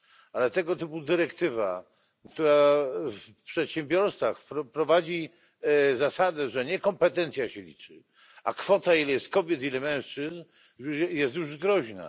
Ale tego typu dyrektywa, która w przedsiębiorstwach wprowadzi zasadę, że nie kompetencja się liczy, a kwota, ile jest kobiet, ile mężczyzn, jest już groźna.